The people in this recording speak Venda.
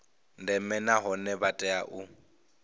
ndeme nahone vha tea u